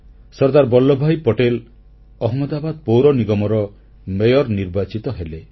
ସର୍ଦ୍ଦାର ବଲ୍ଲଭ ଭାଇ ପଟେଲ ଅହମଦାବାଦ ପୌରନିଗମର ମେୟର ନିର୍ବାଚିତ ହେଲେ